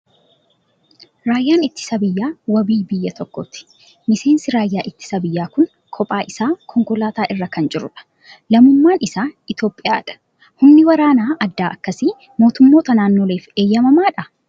Raayyaan ittisa biyyaa wabii biyya tokkooti. Miseensi raayyaa ittisa biyyaa kun kophaa isaa konkolaataa ira kan jiru dha. Lammummaan isaa Itoophiyaa dha. Humni waraana addaa akkasii mootummoota naannoleef eeyyamamaa dhaa?